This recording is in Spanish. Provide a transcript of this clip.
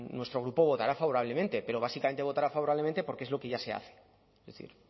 nuestro grupo votará favorablemente pero básicamente votará favorablemente porque es lo que ya se hace es decir